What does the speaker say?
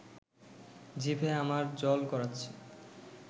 জিভে আমার জল গড়াচ্ছে